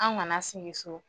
An kana sigi so.